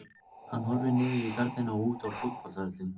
Hann horfir niður í garðinn og út á fótboltavöllinn.